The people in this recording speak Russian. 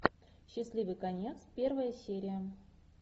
счастливый конец первая серия